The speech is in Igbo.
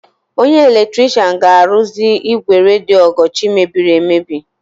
Onye eletrishian ga-arụzi ígwè redio Ọgọchi mebiri emebi.